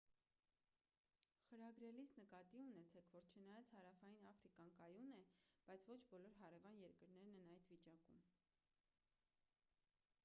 խրագրելիս նկատի ունեցեք որ չնայած հարավային աֆրիկան կայուն է բայց ոչ բոլոր հարևան երկրներն են այդ վիճակում